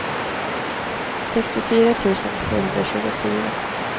sextiofyra tusen tvåhundratjugofyra